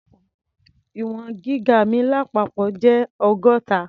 Ì̀wọ̀n gíga mi lápapọ̀ jẹ́ ọgọ́ta.